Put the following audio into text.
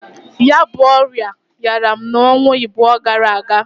Ya bu ọya yara m n'onwa ịbụa gara aga.